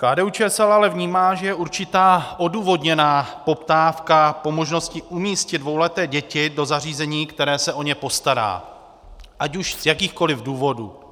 KDU-ČSL ale vnímá, že je určitá odůvodněná poptávka po možnosti umístit dvouleté děti do zařízení, které se o ně postará, ať už z jakýchkoliv důvodů.